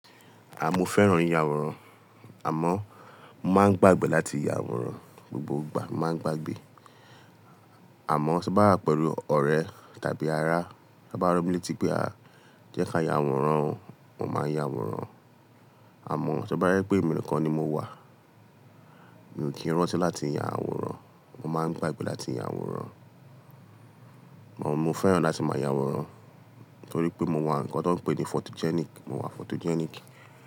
Àmo, mo fẹ́ràn ìyàwòrán àmó máa ń gbàgbẹ́ láti ya àwòrán, gbogbo ìgbà mo máa ń gbàgbẹ́. Àmó, tí n bá wà pẹ̀lú ọ̀rẹ́ tàbí ará, tán bá rán mi létí pé a, jẹ́ ká ya àwòrán, mo máa ya àwòrán. Àmó, tó bá jẹ́ pé èmi nìkan ni mo wà, mi ò kí n rántí láti ya àwòrán, mo máa ń gbàgbẹ́ láti ya àwòrán. Mo fẹ́ràn láti máa ya àwòrán torí pé mo wà nǹkan tó ń pé ni photogenic, mo wà photogenic.